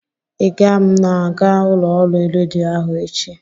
Ị ga m'aga ụlọ ọrụ redio ahụ echi?